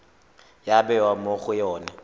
ya bewa mo go yone